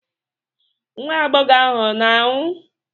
Nwa agbọghọ ahụ ọ na-anwụ?